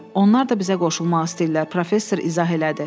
Onlar da bizə qoşulmaq istəyirlər, Professor izah elədi.